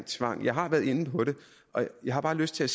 tvang jeg har været inde på det og jeg har bare lyst til